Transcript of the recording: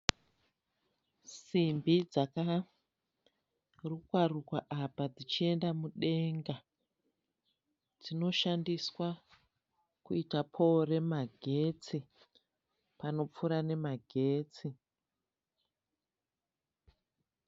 Simbi dzakarukwa rukwa apa dzichienda mudenga dzinoshandiswa kuita poro remagetsi panopfuura nemagetsi.